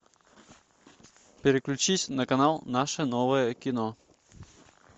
переключись на канал наше новое кино